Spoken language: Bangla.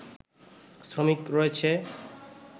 শ্রমিক রয়েছে